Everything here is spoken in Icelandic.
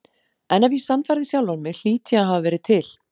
En ef ég sannfærði sjálfan mig hlýt ég að hafa verið til.